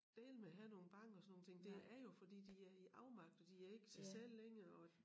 Dæleme have nogle bank og sådan nogle ting det er jo fordi de er i afmagt og de er ikke sig selv længere og